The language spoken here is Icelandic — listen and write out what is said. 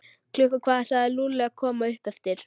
Klukkan hvað ætlaði Lúlli að koma upp eftir?